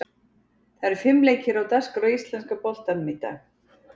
Það eru fimm leikir á dagskrá í íslenska boltanum í dag.